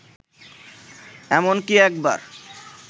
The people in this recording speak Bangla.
এমনকি একবার